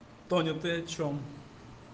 тоня ты о чем